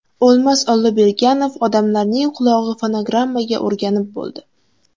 O‘lmas Olloberganov: Odamlarning qulog‘i fonogrammaga o‘rganib bo‘ldi.